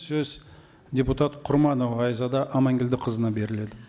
сөз депутат құрманова айзада аманкелдіқызына беріледі